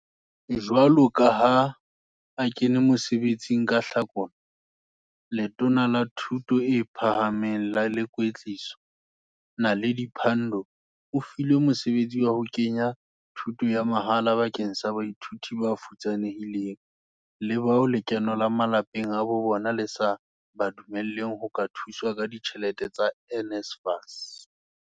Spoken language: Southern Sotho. Jwalo ka ha a kene mosebe tsing ka Hlakola, Letona la Thuto e Phahameng le Kwetliso, Naledi Pandor o filwe mosebetsi wa ho ke nya thuto ya mahala bakeng sa baithuti bafutsanehileng le bao lekeno la malapeng a bobona le sa ba dumelleng ho ka thuswa ka ditjhelete tsa NSFAS.